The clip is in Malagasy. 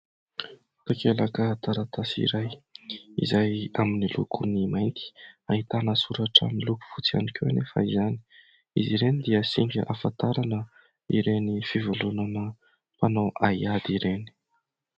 Takelaka taratasy iray izay miloko amin'ny mainty, ahitana soratra miloko fotsy ihany koa anefa izany, izy ireny dia singa ahafantarana ireny fivondronana mpanao haiady ireny.